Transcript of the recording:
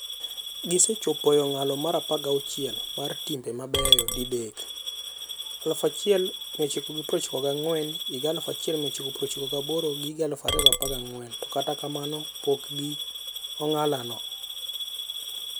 Gisechopo e ong'ala mar 16 mar timbe mabeyo didek - 1994, 1998 gi 2014 - to kata kamano pokgi on'ala no.